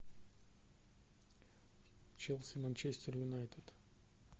челси манчестер юнайтед